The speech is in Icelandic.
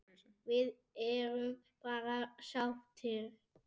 Við erum bara sáttir.